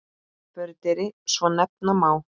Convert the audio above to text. Fordyri svo nefna má.